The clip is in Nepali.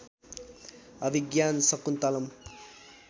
अभिज्ञान शाकुन्तलम्